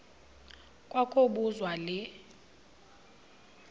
kwa kobuzwa le